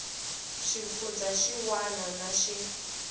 xifundzha xin wana na xin